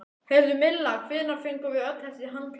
Heyrðu, Milla, hvenær fengum við öll þessi handklæði?